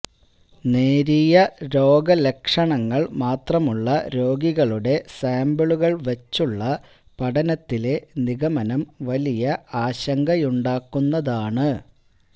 നേരിയ രോഗലക്ഷണങ്ങള് മാത്രമുള്ള രോഗികളുടെ സാമ്പിളുകള് വച്ചുള്ള പഠനത്തിലെ നിഗമനം വലിയ ആശങ്കയുണ്ടാക്കുന്നതാണ്